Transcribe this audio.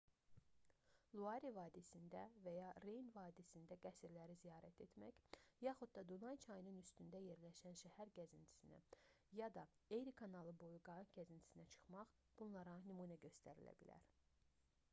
luarı vadisində və ya reyn vadisində qəsrləri ziyarət etmək yaxud da dunay çayının üstündə yerləşən şəhər gəzintisinə ya da eri kanalı boyu qayıq gəzintisinə çıxmaq bunlara nümunə göstərilə bilər